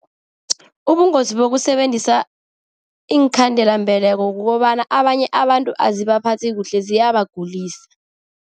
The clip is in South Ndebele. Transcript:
Ubungozi bokusebenzisa iinkhandelambeleko kukobana abanye abantu azibaphathi kuhle, ziyabagulisa.